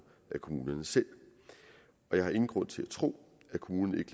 af kommunerne selv og jeg har ingen grund til at tro at kommunerne